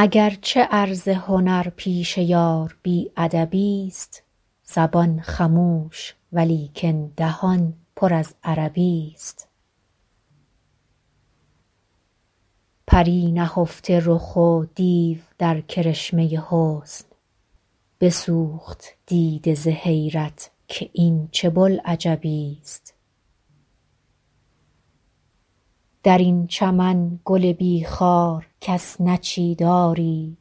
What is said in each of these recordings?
اگر چه عرض هنر پیش یار بی ادبی ست زبان خموش ولیکن دهان پر از عربی ست پری نهفته رخ و دیو در کرشمه حسن بسوخت دیده ز حیرت که این چه بوالعجبی ست در این چمن گل بی خار کس نچید آری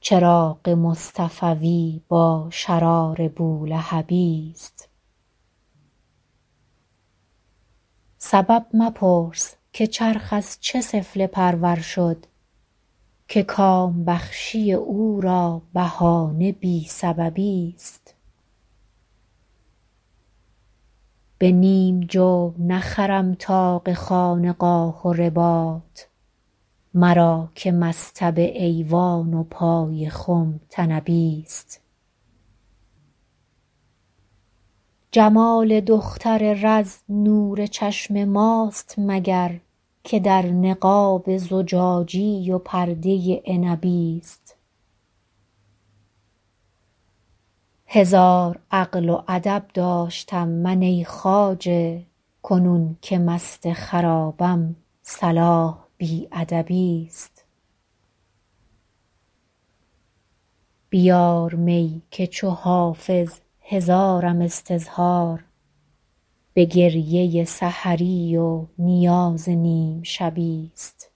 چراغ مصطفوی با شرار بولهبی ست سبب مپرس که چرخ از چه سفله پرور شد که کام بخشی او را بهانه بی سببی ست به نیم جو نخرم طاق خانقاه و رباط مرا که مصطبه ایوان و پای خم طنبی ست جمال دختر رز نور چشم ماست مگر که در نقاب زجاجی و پرده عنبی ست هزار عقل و ادب داشتم من ای خواجه کنون که مست خرابم صلاح بی ادبی ست بیار می که چو حافظ هزارم استظهار به گریه سحری و نیاز نیم شبی ست